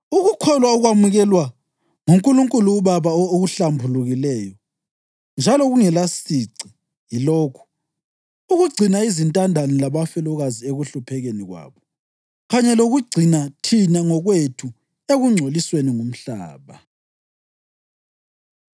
Ukukholwa okwamukelwa nguNkulunkulu uBaba okuhlambulukileyo njalo kungelasici yilokhu: ukugcina izintandane labafelokazi ekuhluphekeni kwabo, kanye lokuzigcina thina ngokwethu ekungcolisweni ngumhlaba.